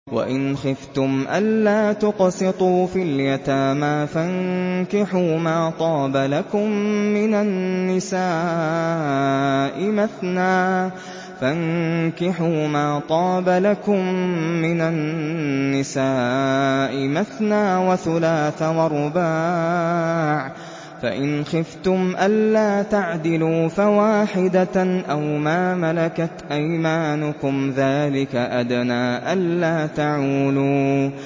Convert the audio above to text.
وَإِنْ خِفْتُمْ أَلَّا تُقْسِطُوا فِي الْيَتَامَىٰ فَانكِحُوا مَا طَابَ لَكُم مِّنَ النِّسَاءِ مَثْنَىٰ وَثُلَاثَ وَرُبَاعَ ۖ فَإِنْ خِفْتُمْ أَلَّا تَعْدِلُوا فَوَاحِدَةً أَوْ مَا مَلَكَتْ أَيْمَانُكُمْ ۚ ذَٰلِكَ أَدْنَىٰ أَلَّا تَعُولُوا